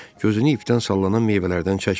Gözünü ipdən sallanan meyvələrdən çəkmirdi.